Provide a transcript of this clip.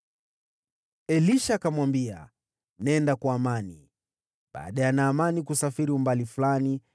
Elisha akamwambia, “Nenda kwa amani.” Baada ya Naamani kusafiri umbali fulani,